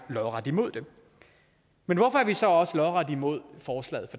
lodret imod det men hvorfor er vi så også lodret imod forslaget